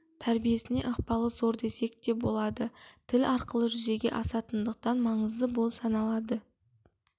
тәрбиесіне ықпалы зор десек те болады тіл арқылы жүзеге асатындықтан маңызды болып саналады